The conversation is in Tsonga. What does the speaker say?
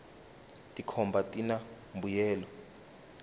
tikhomba tina mbuyelo